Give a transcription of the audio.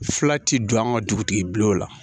Fila ti don an ka dugutigiw la